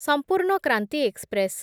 ସମ୍ପୂର୍ଣ୍ଣ କ୍ରାନ୍ତି ଏକ୍ସପ୍ରେସ୍